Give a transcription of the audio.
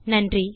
நன்றி